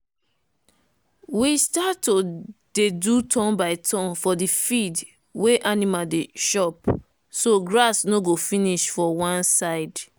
we start to dey do turn by turn for the field wey animal dey chop so grass no go finish for one side.